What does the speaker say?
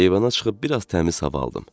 Eyvana çıxıb biraz təmiz hava aldım.